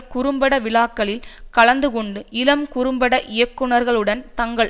குறும்பட விழாக்களில் கலந்துகொண்டு இளம் குறும்பட இயக்குனர்களுடன் தங்கள்